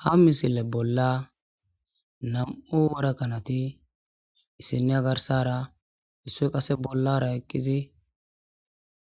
ha misile bolla nam7u wora kanati issiniya garsara isso qase bollara eqqizi